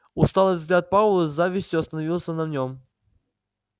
усталый взгляд пауэлла с завистью остановился на нём